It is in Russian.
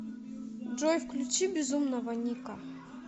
джой включи безумного ника